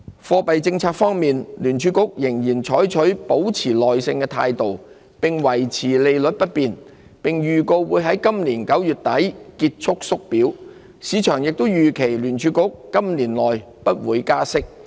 貨幣政策方面，聯儲局仍採取"保持耐性"的態度，維持利率不變，並預告會在今年9月底結束縮表，市場也預期聯儲局今年內不會加息。